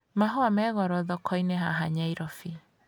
Mahũa me goro thoko-inĩ haha Nyairobi